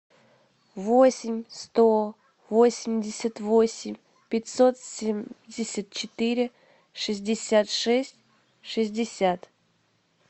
восемь сто восемьдесят восемь пятьсот семьдесят четыре шестьдесят шесть шестьдесят